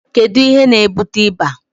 kedu ihe na-ebute ịba?